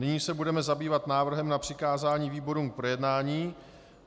Nyní se budeme zabývat návrhem na přikázání výborům k projednání.